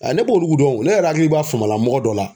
A ne b'olu dɔn o ne yɛrɛ hakili b'a fama la mɔgɔ dɔ la